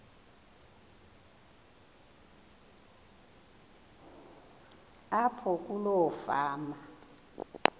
apho kuloo fama